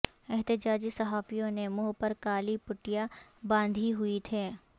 احتجاجی صحافیوں نے منہ پر کالی پٹیاں باندھی ہوئی تھیں